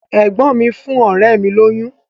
Ẹ̀gbọ́n mi fún ọ̀rẹ́ mi lóyún.